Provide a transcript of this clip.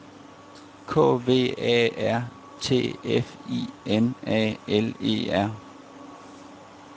K V A R T F I N A L E R